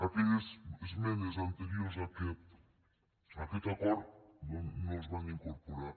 aquelles esmenes anteriors a aquest acord no es van incorporar